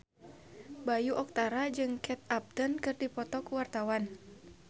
Bayu Octara jeung Kate Upton keur dipoto ku wartawan